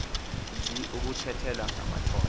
mzi ukuthethelwa ngamatola